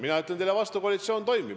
Mina ütlen teile vastu: koalitsioon toimib.